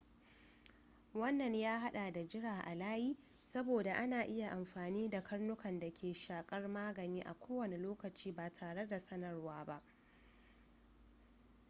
wannan ya hada da jira a layi saboda ana iya amfani da karnukan da ke shakar magani a kowane lokaci ba tare da sanarwa ba